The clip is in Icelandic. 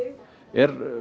er